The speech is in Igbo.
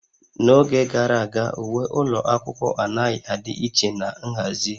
N'oge gara aga, uwe ụlọ akwụkwọ anaghị adị iche na nhazi